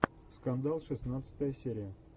скандал шестнадцатая серия